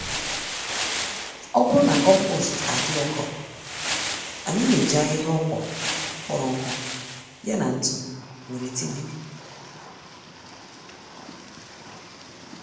Ọbụrụ na kompost adị ụkọ, anyị n'eji ahịhịa ọkwụrụ kpọrọ nkụ, ya na ntụ wéré tinye